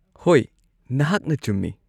ꯍꯣꯏ, ꯅꯍꯥꯛꯅ ꯆꯨꯝꯃꯤ꯫